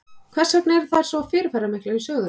Hvers vegna eru þær svo fyrirferðamiklar í sögunni?